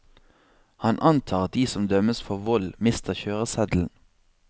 Han antar at de som dømmes for vold, mister kjøreseddelen.